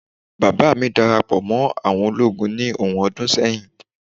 baba mi darapo mo àwọn ologun ni ohun ọdún sẹyìn